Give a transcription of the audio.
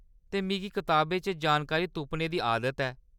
ते मिगी किताबें च जानकारी तुप्पने दी आदत ऐ।